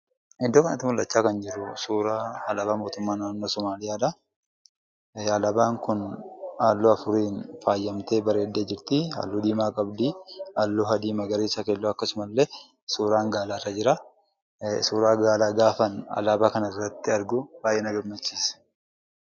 Iddoo kanatti kan mul'achaa jiru suuraa alaabaa mootummaa naannoo Sumaaleedha. Alaabaan kun halluu afuriin bareeddee faayamtee jirti. Halluu diimaa qabdi, halluu adii, magariisa akkasumasillee suuraan Gaalaa irra jira. Suuraa Gaalaa gaafan alaabaa kana irratti argu baay'ee na gammachiisa.